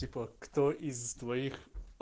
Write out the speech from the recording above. типа кто из твоих